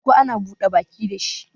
Koko ana buda baki da shi